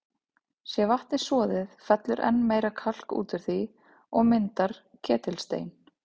Sé vatnið soðið, fellur enn meira kalk út úr því og myndar ketilstein.